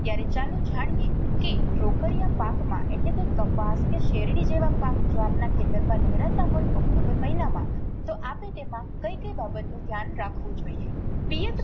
ત્યારે ચાલો જાણીએ કે રોકડીયા પાક માં એટલે કે કપાસ કે શેરડી જેવા પાક જો આપના ખેતર માં લહેરાતા હોય ઓક્ટોમ્બર મહિના માં તો આપે તેમાં કઈ કઈ બાબત નું ધ્યાન રાખવું જોઈએ. પિયત